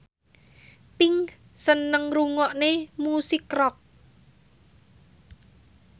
Pink seneng ngrungokne musik rock